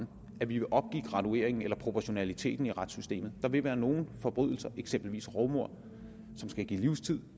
at vi vil opgive gradueringen eller proportionaliteten i retssystemet der vil være nogle forbrydelser eksempelvis rovmord som skal give livstid og